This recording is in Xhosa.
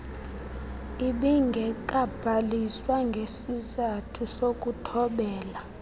ibingekabhaliswa ngesisathu sokuthobela